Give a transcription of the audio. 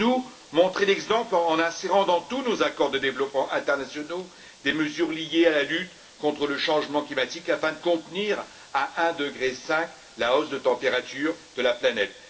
Deuxièmement, nous devons montrer l'exemple en insérant dans tous nos accords de développement internationaux des mesures liées à la lutte contre le changement climatique afin de contenir à 1,5 degré la hausse de température de la planète.